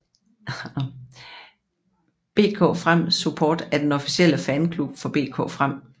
BK Frem Support er den officielle fanklub for BK Frem